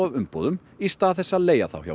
umboðum í stað þess að leigja þá hjá